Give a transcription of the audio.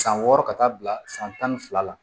San wɔɔrɔ ka taa bila san tan ni fila la